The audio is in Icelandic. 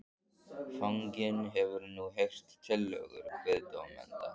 Fanginn hefur nú heyrt tillögur kviðdómenda.